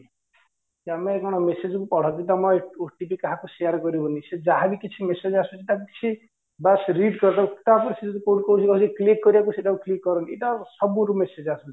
ତମ କଣ message କୁ ପଢ ତମ OTP କାହାକୁ share କରିବନି ସେ ଯାହା ବି କିଛି message ଆସୁଛି ତାକୁ କିଛି ବାସ read କରିଦେବ ତାପରେ ସିଏ ଯଦି କହୁଛି click କରିବାକୁ ସେ ଟାକୁ click କରନ୍ତି ଏଇଟା ସବୁବେଳେ message ଆସୁଛି